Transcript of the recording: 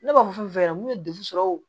Ne b'a fɔ yɛrɛ mun ye degun sɔrɔ o